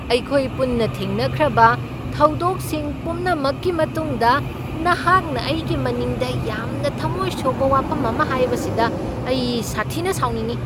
ꯑꯩꯈꯣꯏ ꯄꯨꯟꯅ ꯊꯦꯡꯅꯈ꯭ꯔꯕ ꯊꯧꯗꯣꯛꯁꯤꯡ ꯄꯨꯝꯅꯃꯛꯀꯤ ꯃꯇꯨꯡꯗ ꯅꯍꯥꯛꯅ ꯑꯩꯒꯤ ꯃꯅꯤꯡꯗ ꯌꯥꯝꯅ ꯊꯝꯃꯣꯏ ꯁꯣꯛꯄ ꯋꯥꯐꯝ ꯑꯃ ꯍꯥꯏꯕꯁꯤꯗ ꯑꯩ ꯁꯥꯊꯤꯅ ꯁꯥꯎꯅꯤꯡꯢ ꯫